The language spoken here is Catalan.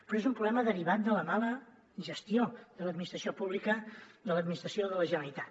però és un problema derivat de la mala gestió de l’administració pública de l’administració de la generalitat